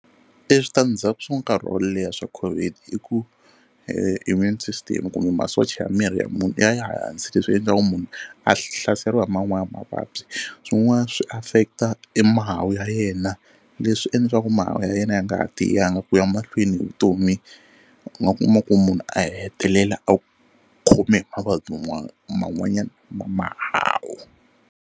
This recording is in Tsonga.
E switandzhaku swa nkarhi wo leha swa COVID i ku e immune system kumbe masocha ya miri ya munhu ya ya hansi leswi endlaku munhu a hlaseriwa hi man'wani mavabyi. Swin'wana swi affect-a e mahawu ya yena leswi endla swa ku mahawu ya yena ya nga ha tiyangi ku ya mahlweni hi vutomi u nga kuma ku munhu a hetelela a khome hi mavabyi man'wanyana ya mahawu.